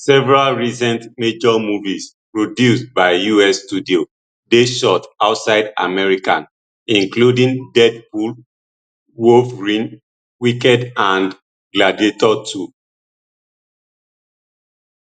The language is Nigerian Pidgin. several recent major movies produced by us studios dey shot outside america including deadpool wolverine wicked and gladiator ii